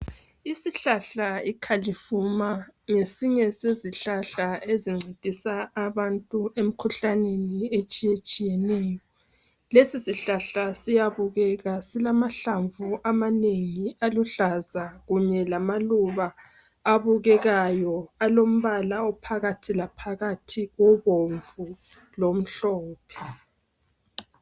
Isihlahla ikhalivuma ngesinye sezihlahla ezincedisa abantu emkhuhlaneni etshiyetshiyeneyo. Lesi sihlahla siyabukeke silamahlamvu amanengi aluhlaza kunye lamaluba abukekayo, alombala ophakathi laphakathi kobomvu lomhlophe.